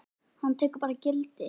Hann tekur bara gildi?